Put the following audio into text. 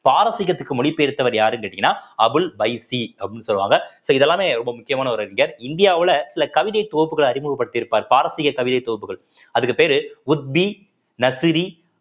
பாரசீகத்துக்கு மொழி பெயர்த்தவர் யாருன்னு கேட்டீங்கன்னா அபுல் பைசி அப்படின்னு சொல்லுவாங்க so இது எல்லாமே ரொம்ப முக்கியமான ஒரு இந்தியாவுல சில கவிதைத் தொகுப்புகளை அறிமுகப்படுத்தி இருப்பாரு பாரசீக கவிதைத் தொகுப்புகள் அதுக்குப் பேரு உத்வி நசிரி